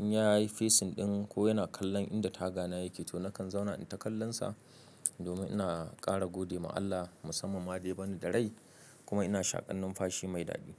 in ya yi facing ɗin ko yana kallon inda tagana yake to nakan zauna in taƙallansa domin ina ƙara gode ma Allah musamman ma dai bani da rai kuma ina shaƙan numfashi mai daɗi.